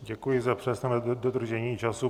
Děkuji za přesné dodržení času.